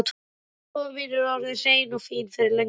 Vinnustofan mín er orðin hrein og fín fyrir löngu.